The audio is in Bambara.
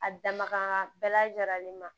A dafa bɛɛ lajɛlen ma